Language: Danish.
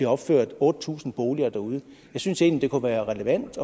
opført otte tusind boliger derude og jeg synes egentlig det kunne være relevant